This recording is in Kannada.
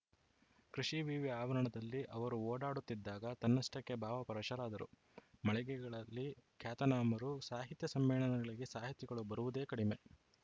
ಕೃಷಿ ವಿವಿ ಆವರಣದಲ್ಲಿ ಅವರು ಓಡಾಡುತ್ತಿದ್ದಾಗ ತನ್ನಷ್ಟಕ್ಕೆ ಭಾವ ಪರಶರಾದರು ಮಳಿಗೆಗಳಲ್ಲಿ ಖ್ಯಾತನಾಮರು ಸಾಹಿತ್ಯ ಸಮ್ಮೇಳನಗಳಿಗೆ ಸಾಹಿತಿಗಳು ಬರುವುದೇ ಕಡಿಮೆ